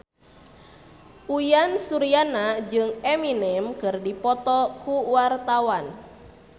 Uyan Suryana jeung Eminem keur dipoto ku wartawan